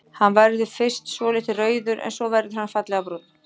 Hann verður fyrst svolítið rauður en svo verður hann fallega brúnn.